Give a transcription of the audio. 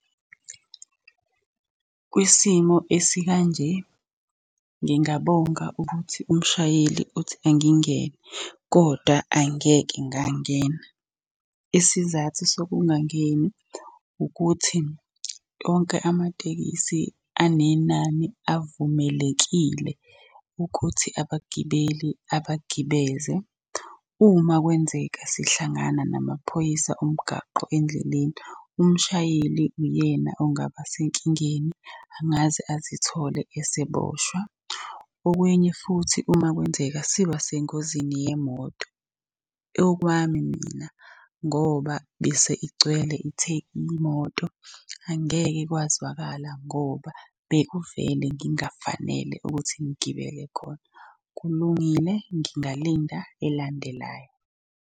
Kwisimo esikanje, ngingabonga ukuthi umshayeli uthi angingene, kodwa angeke ngangena. Isizathu sokungangeni ukuthi onke amatekisi anenani avumelekile ukuthi abagibeli abagibeze. Uma kwenzeka sihlangana namaphoyisa omgaqo endleleni, umshayeli uyena ongaba senkingeni angaze azithole eseboshwa, okunye futhi uma kwenzeka siba sengozini yemoto. Okwami mina ngoba bese igcwele imoto, angeke kwazwakala ngoba bekuvele ngingafanele ukuthi ngigibele khona. Kulungile, ngingalinda elandelayo.